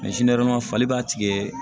fali b'a tigɛ